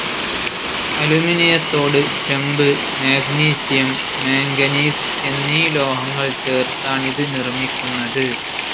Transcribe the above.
അലൂമിനിയത്തോട് ചെമ്പ്, magnesium, manganese എന്നീ ലോഹങ്ങൾ ചേർത്താണിത് നിർമ്മിക്കുന്നത്.